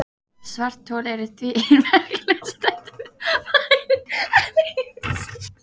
Svarthol eru því ein merkilegustu þekktu fyrirbæri alheimsins.